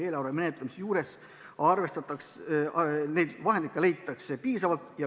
Eelarve menetlemisel aga neid vahendeid leitakse.